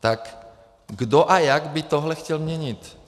Tak kdo a jak by tohle chtěl měnit?